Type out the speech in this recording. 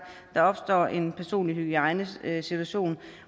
der opstår en personlig hygiejnesituation